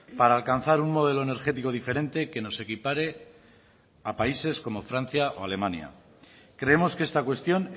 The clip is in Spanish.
para alcanzar un modelo energético diferente que nos equipare a países como francia o alemania creemos que esta cuestión